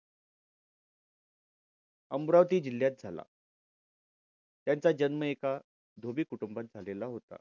अमरावती जिल्ह्यात झाला त्यांचा जन्म एका धोबी कुटुंबात झालेला होता.